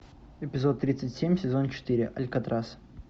эпизод тридцать семь сезон четыре алькатрас